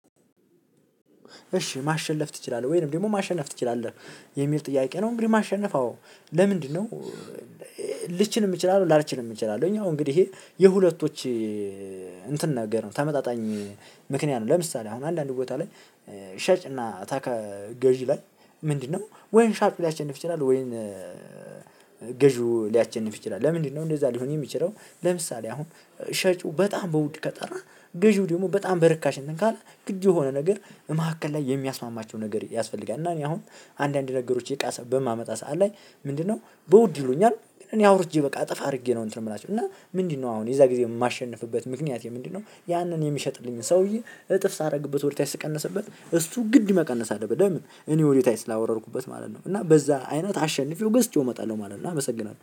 እሺ ማሸነፍ ትችላለህ ወይንም ደግሞ ማሸነፍ ትችላለህ የሚል ጥያቄ ነው። እንግዲህ ማሸነፍ አዎ ለምንድነው? ልችል እምትችላለው ላልችል እምችላለሁግን ያው እንግዲህ ይሄ የሁለቶች እንትን ነገር ነው። ተመጣጣኝ ምክንያት ነው። ለምሳሌ አሁን አንዳንድ ቦታ ላይ ሸጭና ገዢ ላይ ምንድነው? ወይም ሻጭ ሊያሸንፍ ይችላል ወይም? ገዢው ሊያቸንፍ ይችላል ለምንድነው? እንደዛ ሊሆን የሚችለው። ለምሳሌ አሁን ሻጩ በጣም በውድ ከጠራ ገዢው ደግሞ በጣም በርካሽ እንትን ካለ ግድ የሆነ ነገር እመካከል ላይ የሚያስማማቸው ነገር ያስፈልጋል። እና እኔ አሁን አንዳንድ ነገሮች የቃሰ በማመጣ ሰዓት ላይ ምንድነው በውድ ይሉኛል። እኔ አውርጄ በቃ እጥፍ አድርጌ ነው እንትን የምላቸው እና ምንድነው? አሁን የዛ ጊዜ የማሸንፍበት ምክንያቴ ምንድነው ያንን የሚሸጥልኝን ሰውዬ እጥፍ ሳደርግበት ወደታች ስቀነስበት እሱ ግድ መቀነስ አለበት። ለምን እኔ ወደታች ስላወረድኩበት ማለት ነው። እና በዛ አይነት አሸንፌው ገዝቼው እመጣለሁ ማለት ነው። አመሰግናለሁ